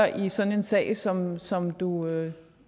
i sådan en sag som som du